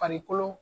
Farikolo